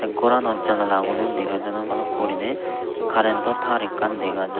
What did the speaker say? ghorano janalagun o dega jadon bhalukku guriney current o tar ekkan dega jar.